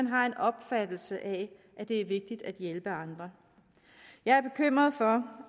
har en opfattelse af at det er vigtigt at hjælpe andre jeg er bekymret for